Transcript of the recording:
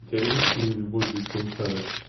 у тебя есть фильм любовь без пересадок